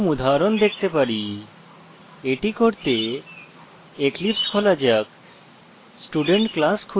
এটি করতে eclipse খোলা যাক